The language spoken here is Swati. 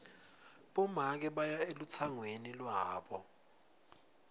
bomake baya elutsangweni lwabo